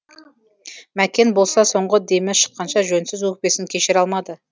мәкен болса соңғы демі шыққанша жөнсіз өкпесін кешіре алмады